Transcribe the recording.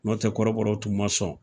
N'o tɛ kɔrɔbɔr tun ma sɔn.